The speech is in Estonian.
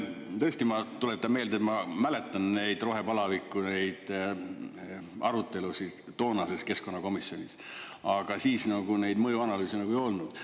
Tõesti, ma tuletan meelde, et ma mäletan neid rohepalaviku arutelusid toonases keskkonnakomisjonis, aga siis nagu neid mõjuanalüüse ei olnud.